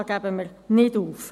Da geben wir nicht auf.